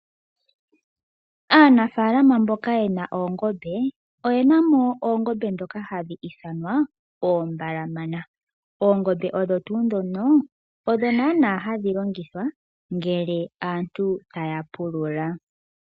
Aanafaalama mboka yena oongombe , oyena mo oongombe ndhoka hadhi ithanwa oombalamana. Oongombe ndhono ohadhi longithwa ngele aantu taya pulula.